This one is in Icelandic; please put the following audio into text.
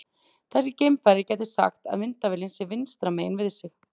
Þessi geimfari gæti sagt að myndavélin sé vinstra megin við sig.